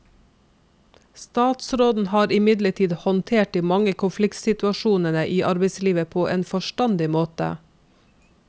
Statsråden har imidlertid håndtert de mange konfliktsituasjonene i arbeidslivet på en forstandig måte.